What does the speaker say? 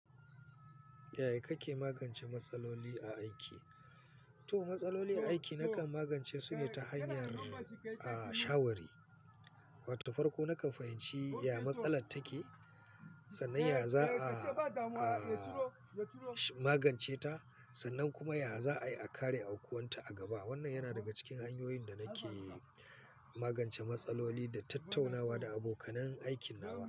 Yaya kake magance matsaloli a aiki? To matsaloli a aiki nakan magance su ne ta hanyar, ah, shawari. Wata farko nakan fahimci ya matsala take, sannan ya za a, a magance ta, sannan kuma ya za a iya kare aukuwan ta a gaba. Wannan yana daga cikin hanyoyin da nake magance matsaloli da tattaunawa da abokanai aikin nawa.